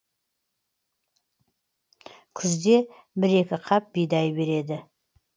күзде бір екі қап бидай береді